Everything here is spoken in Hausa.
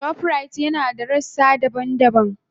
Shoprite yana da rassa daban-daban a Najeriya.